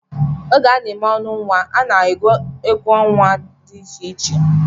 Oge a na-eme ọṅụ nnwa, a na-agụ egwú nnwa dị iche iche